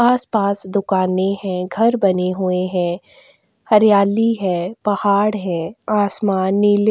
आस-पास दुकानें हैं घर बने हुए हैं हरियाली है पहाड़ हैं आसमान नीले --